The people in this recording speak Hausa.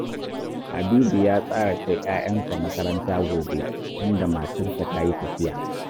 Habibu ya tsara kai ‘ya’yansa makaranta gobe, tunda matarsa ta yi tafiya